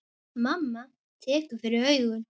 Mamma tekur fyrir augun.